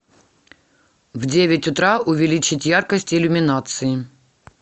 в девять утра увеличить яркость иллюминации